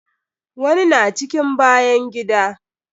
Wani na cikin bayan gida.